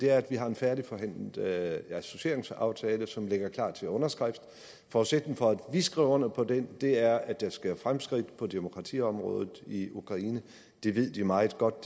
er at vi har en færdigforhandlet associeringsaftale som ligger klar til underskrift forudsætningen for at vi skriver under på den er at der sker fremskridt på demokratiområdet i ukraine det ved de meget godt